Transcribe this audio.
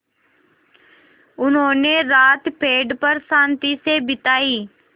उन्होंने रात पेड़ पर शान्ति से बिताई